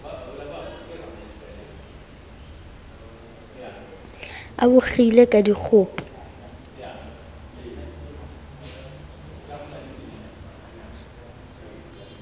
a bo kgile ka dikgopo